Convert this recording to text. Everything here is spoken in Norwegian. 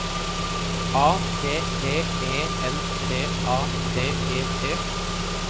A T T E N T A T E T